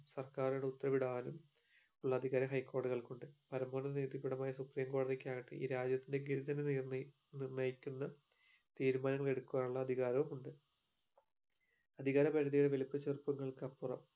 സർക്കാരിനോട് ഉത്തരവിടാനും ഉള്ള അധികാരം high കോടതികൾക്ക് ഉണ്ട് പരമ്മോന്നത നീതി പീഠമായ supreme കോടതിക്ക് ആകട്ടെ ഈ രാജ്യത്തിനെ ഗതി തന്നെ നിർ നിർണ്ണയിക്കുന്ന തീരുമാനങ്ങൾ എടുക്കുവാനുള്ള അധികാരവും ഉണ്ട് അധികാര പരിധിയെ വലിപ്പ ചെറുപ്പങ്ങൾക്കപ്പുറം